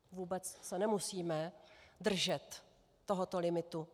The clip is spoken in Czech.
Vůbec se nemusíme držet tohoto limitu.